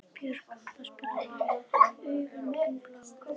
Björg, kanntu að spila lagið „Augun þín blá“?